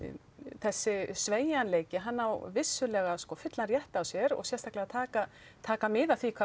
þessi sveigjanleiki hann á vissulega fullan rétt á sér og sérstaklega að taka taka mið af því hvað